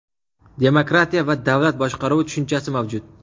Demokratiya va davlat boshqaruvi tushunchasi mavjud.